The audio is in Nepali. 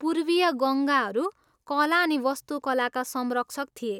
पूर्वीय गङ्गाहरू कला अनि वास्तुकलाका संरक्षक थिए।